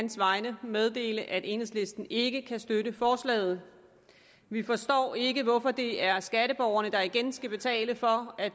vegne meddele at enhedslisten ikke kan støtte forslaget vi forstår ikke hvorfor det er skatteborgerne der igen skal betale for at